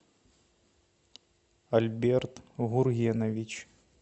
альберт гургенович